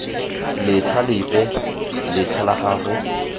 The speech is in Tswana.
letlha lepe letlha la gago